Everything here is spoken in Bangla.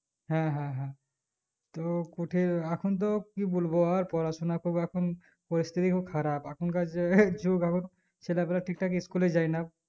হ্যাঁ হ্যাঁ হ্যাঁ তো কোঠি এখন তো কি বলবো আর পড়াশোনা খুব এখন পরিস্তিতি খুব খারাপ এখন কার যে এই যুগ এখন ছেলা পিলা ঠিক ঠাক school এ যাই না